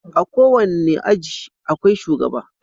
A kowane aji akwai shugaba.